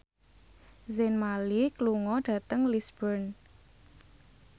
Zayn Malik lunga dhateng Lisburn